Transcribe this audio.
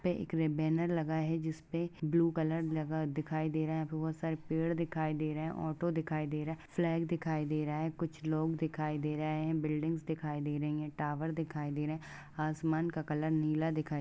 एक बैनर लगा है जिसपे ब्लू कलर लगा दिखाई दे रहा है। बहुत सारे पेड़ दिखाई दे रहे हैं। ऑटो दिखाई दे रहा है। फ्लैग दिखाई दे रहा है कुछ लोग दिखाई दे रहे हैं। बिल्डिंग दिखाई दे रही हैं। टावर दिखाई दे रहे हैं। आसमान का कलर नीला दिखाई दे रहा है।